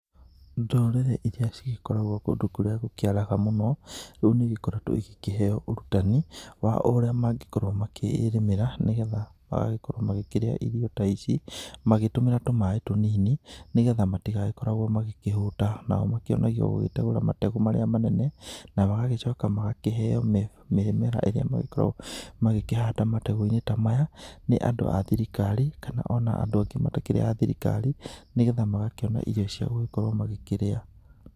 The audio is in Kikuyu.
Ndũrĩrĩ iria cigĩkoragwo kũndũ kũrĩa gũkĩaraga mũno rĩu nĩigĩkoretwo igĩkĩheo ũrutani wa ũría mangĩkorwo makĩrĩmĩra nĩgetha magagĩkorwo makĩrĩa irio ta ici magĩtũmĩra tũmaĩ tũnini nĩgetha matigagĩkoragwo magĩkĩhũta na magakĩonagio magĩtegũra mategũ marĩa manene na magagĩcoka magakĩheo mĩmera ĩrĩa magĩkoragwo magĩkĩhanda mategũ-inĩ ta maya nĩ andũ a thirikari kana ona andũ angĩ matarĩ a thirikari nĩgetha magakĩona irio cia gũgĩkorwo magĩkĩrĩa.